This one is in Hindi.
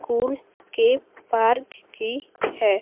कूल के पार्क की है।